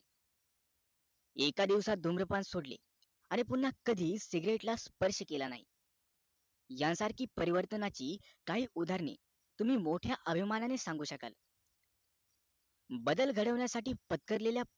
एका दिवसात धूम्रपान सोडले आणि पुन्हा कधीच cigarette ला स्पर्श केला नाही यासारखी परिवर्तनाची काही उद्धरणे तुम्ही मोठ्या अभिमानाने सांगू शकाल बदल घडवण्यासाठी पटकरलेल्या